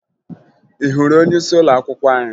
Ị hụrụ onyeisi ụlọakwụkwọ anyị?